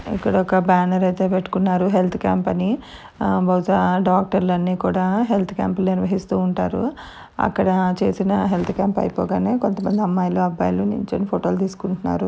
ఇక్కడ ఒక బ్యానర్ అయితే పెట్టుకున్నారు హెల్త్ క్యాంప్ అని. బహుశా డాక్టర్ లు అన్ని కూడా హెల్త్ క్యాంపులు నిర్వహిస్తూ ఉంటారు. అక్కడ చేసిన హెల్త్ క్యాంప్ అయిపోగానే కొంత మంది అమ్మాయిలు అబ్బాయిలు నిల్చొని ఫోటోలు తీసుకుంటున్నారు.